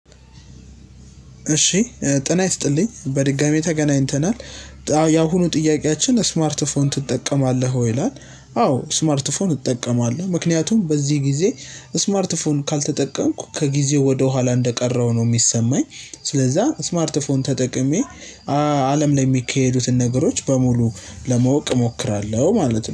እሺ ጤና ይስጥልኝ በድጋሚ ተገናኝተናል ያሁኑ ጥያቄያችን ስማርት ፎን ትጠቀማለህ ወይ ይላል? አዎ ስማርት ፎን እጠቀማለሁ ምክንያቱም በዚህ ጊዜ ስማርት ፎን ካልተጠቀምኩ ከጊዜው ወደኋላ እንደቀረው ነው የሚሰማኝ። ስለዛ ስማርት ፎን ተጠቅሜ። አለም ላይ የሚካሄዱትን ነገሮች በሙሉ ለመወቅ እሞክራለሁ ማለት ነው